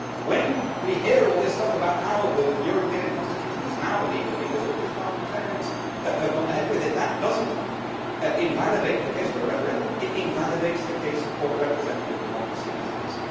When we hear all this stuff about how the European Constitution is now legal because all these parliamentarians have gone ahead with it, that does not invalidate the case for a referendum it invalidates the case for representative democracy as it is.